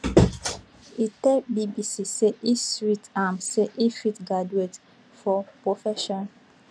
e tell bbc say e sweet am say e fit graduate for profession